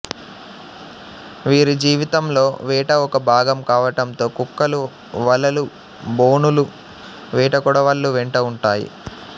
వీరిజీవితంలో వేట ఒక భాగం కావటంతో కుక్కలు వలలు బోనులు వేటకొడవళ్లు వెంట ఉంటాయి